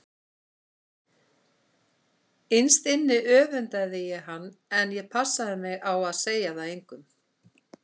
Innst inni öfundaði ég hann en ég passaði mig á að segja það engum.